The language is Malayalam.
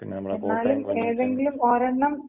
പിന്ന നമ്മുടെ കോട്ടയം കുഞ്ഞച്ചൻ..